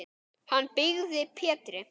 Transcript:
Hann byggði Pétri